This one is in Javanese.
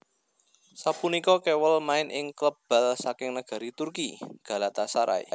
Sapunika Kewell main ing klub bal saking negari Turki Galatasaray